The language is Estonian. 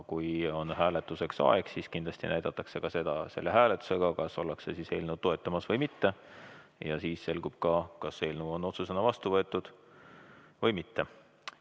Kui on hääletamise aeg, siis näidatakse hääletusega, kas toetatakse eelnõu või mitte, ja siis selgub ka, kas eelnõu võetakse otsusena vastu või mitte.